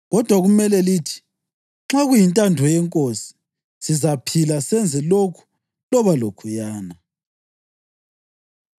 Kodwa kumele lithi, “Nxa kuyintando yeNkosi sizaphila senze lokhu loba lokhuyana.”